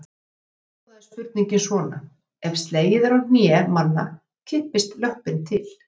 Upprunalega hljóðaði spurningin svona: Ef slegið er í hné manna kippist löppin til.